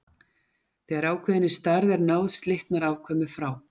Þegar ákveðinni stærð er náð slitnar afkvæmið frá.